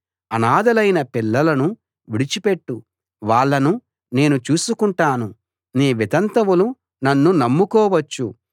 అనాథలైన పిల్లలను విడిచిపెట్టు వాళ్ళను నేను చూసుకుంటాను నీ వితంతువులు నన్ను నమ్ముకోవచ్చు